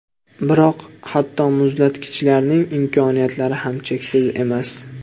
Biroq hatto muzlatgichlarning imkoniyatlari ham cheksiz emas.